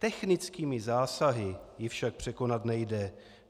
Technickými zásahy ji však překonat nejde.